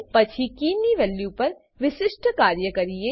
પછી કીની વેલ્યુપર વિશિષ્ઠ કાર્ય કરીએ